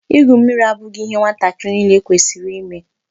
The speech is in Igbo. Igwu mmiri abụghị ihe nwata niile kwesịrị ime.